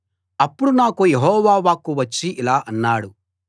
అప్పుడు నాకు యెహోవా వాక్కు వచ్చి ఇలా అన్నాడు